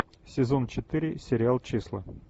сезон четыре сериал числа